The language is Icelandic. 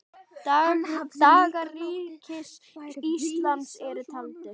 Dagar Ríkis íslams eru taldir.